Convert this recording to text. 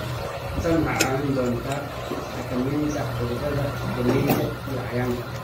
Tani waxay kaa caawin doontaa xakamaynta cudurrada galleyda iyo cayayaanka.